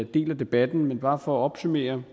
del af debatten men bare for at opsummere